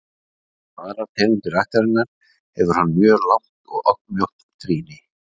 líkt og aðrar tegundir ættarinnar hefur hann mjög langt og oddmjótt trýni